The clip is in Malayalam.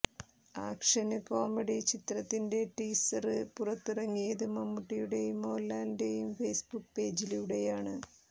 ആക്ഷന് കോമഡി ചിത്രത്തിന്റെ ടീസര് പുറത്തിറക്കിയത് മമ്മൂട്ടിയുടേയും മോഹന്ലാലിന്റേയും ഫേസ്ബുക്ക് പേജിലൂടെയാണ്